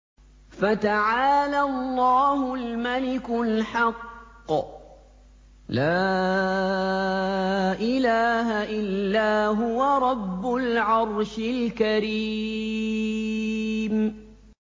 فَتَعَالَى اللَّهُ الْمَلِكُ الْحَقُّ ۖ لَا إِلَٰهَ إِلَّا هُوَ رَبُّ الْعَرْشِ الْكَرِيمِ